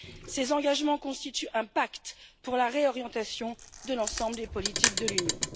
Ces engagements constituent un pacte pour la réorientation de l'ensemble des politiques de l'Union.